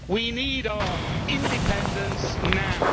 We need our independence now.